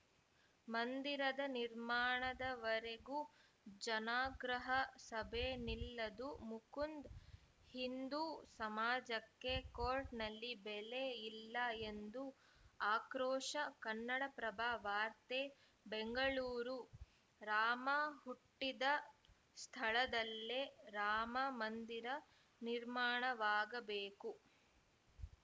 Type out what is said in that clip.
ಮಂದಿರದ ನಿರ್ಮಾಣದವರೆಗೂ ಜನಾಗ್ರಹ ಸಭೆ ನಿಲ್ಲದು ಮುಕುಂದ್‌ ಹಿಂದು ಸಮಾಜಕ್ಕೆ ಕೋರ್ಟ್‌ನಲ್ಲಿ ಬೆಲೆ ಇಲ್ಲ ಎಂದು ಆಕ್ರೋಶ ಕನ್ನಡಪ್ರಭ ವಾರ್ತೆ ಬೆಂಗಳೂರು ರಾಮ ಹುಟ್ಟಿದ ಸ್ಥಳದಲ್ಲೇ ರಾಮ ಮಂದಿರ ನಿರ್ಮಾಣವಾಗಬೇಕು